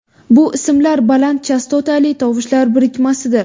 Bu ismlar baland chastotali tovushlar birikmasidir.